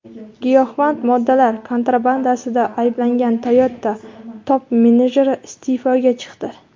Giyohvand moddalar kontrabandasida ayblangan Toyota top-menejeri iste’foga chiqdi.